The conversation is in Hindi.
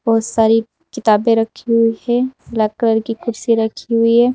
बहुत सारी किताबें रखी हुई है ब्लैक कलर की कुर्सी रखी हुई है।